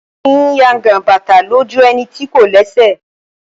A kìí yangan bàtà lójú ẹni tí kò lẹ́sẹ̀.